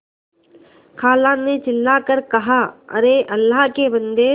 खाला ने चिल्ला कर कहाअरे अल्लाह के बन्दे